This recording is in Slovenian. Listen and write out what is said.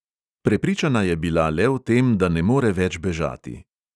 Prepričana je bila le o tem, da ne more več bežati.